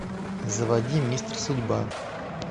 заводи мистер судьба